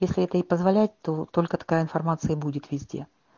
если это и позволяет то только такая информация и будет везде